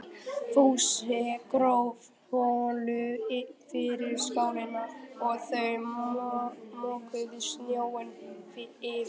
Fúsi gróf holu fyrir skálina og þau mokuðu snjó yfir.